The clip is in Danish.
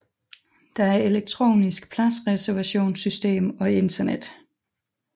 Der er elektronisk pladsreservationssystem og internet